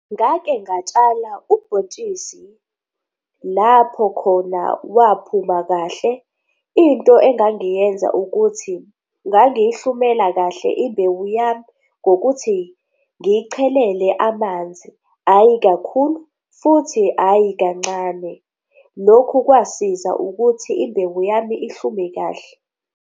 Ngake ngatshala ubhontshisi lapho khona waphuma kahle. Into engangiyenza ukuthi ngangiyihlumela kahle imbewu yami ngokuthi ngiyichelele amanzi ayi kakhulu, futhi ayi kancane. Lokhu kwasiza ukuthi imbewu yami ihlume kahle.